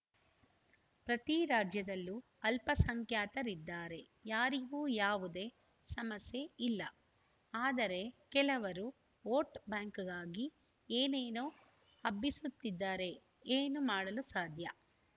ಪ್ರತಿ ರಾಜ್ಯದಲ್ಲೂ ಅಲ್ಪಸಂಖ್ಯಾತರಿದ್ದಾರೆ ಯಾರಿಗೂ ಯಾವುದೇ ಸಮಸ್ಯೆ ಇಲ್ಲ ಆದರೆ ಕೆಲವರು ಓಟ್‌ಬ್ಯಾಂಕ್‌ಗಾಗಿ ಏನೇನೋ ಹಬ್ಬಿಸುತ್ತಿದ್ದರೆ ಏನು ಮಾಡಲು ಸಾಧ್ಯ